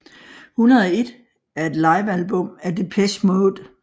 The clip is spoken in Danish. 101 er et livealbum af Depeche Mode